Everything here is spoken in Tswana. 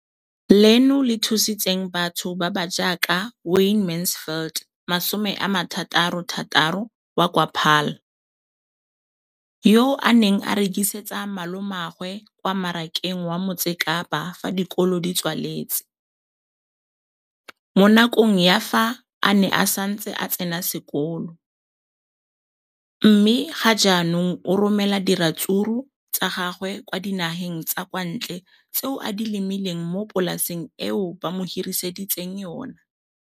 leno le thusitse batho ba ba jaaka Wayne Mansfield, 33, wa kwa Paarl, yo a neng a rekisetsa malomagwe kwa Marakeng wa Motsekapa fa dikolo di tswaletse, mo nakong ya fa a ne a santse a tsena sekolo, mme ga jaanong o romela diratsuru tsa gagwe kwa dinageng tsa kwa ntle tseo a di lemileng mo polaseng eo ba mo hiriseditseng yona.